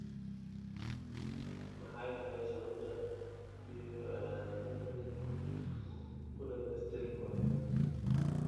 Maxay tahay sababta diiwaannadani u dhammaystirmi waayeen?